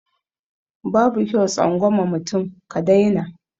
Babu kyau tsangwama mutum ka dai na